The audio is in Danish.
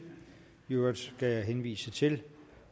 i øvrigt skal jeg henvise til